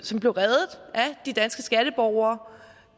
som blev reddet af de danske skatteborgere